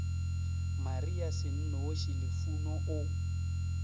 maria se nnoši lufuno o